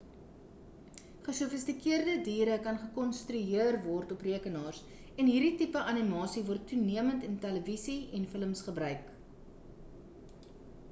gesofistikeerde diere kan gekonstrueer word op rekenaars en hierdie tipe animasie word toenemend in televisie en films gebruik